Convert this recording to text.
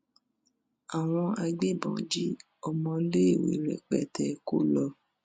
àwọn agbébọn jí ọmọléèwé rẹpẹtẹ kó lọ